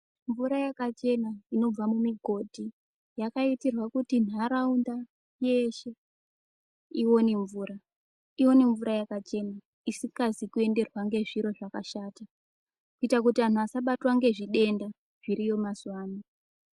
Mvura yakachena inobva mumigodhi yakaitirwa kuti nharaunda yeshe ione mvura ione mvura yakachena isikazi kuenderwa ngezviro zvakashata kuita kuti antu asabatwa ngezvidenda zviriyo mazuwa ano.